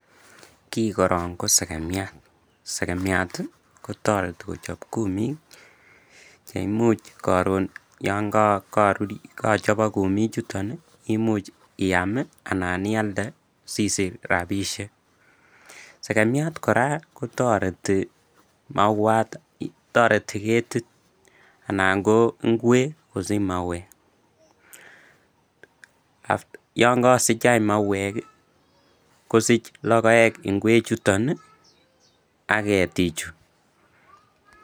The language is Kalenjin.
Kii korong ko sekemiat, sekemiat ii kotoreti kochob kumik nee imuch koron yoon korur kochobok kumichuton imuch iyam anan ialde sisich rabishek, sekemiat kora kotoreti mauat, toreti ketit anan ko ing'wek kosich mauek, yoon kosich any mauek kosich lokoek ing'wek chuton ak ketichu.